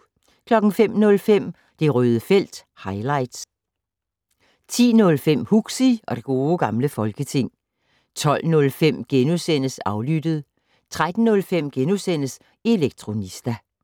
05:05: Det Røde felt - highlights 10:05: Huxi og det gode gamle folketing 12:05: Aflyttet * 13:05: Elektronista *